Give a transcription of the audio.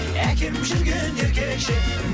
әкем жүрген еркекше